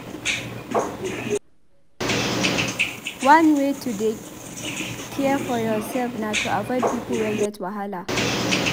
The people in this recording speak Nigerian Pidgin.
One way to dey care for yoursef na to avoid people wey get wahala.